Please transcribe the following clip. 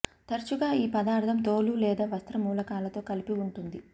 తరచుగా ఈ పదార్థం తోలు లేదా వస్త్ర మూలకాలతో కలిపి ఉంటుంది